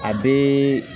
A bɛ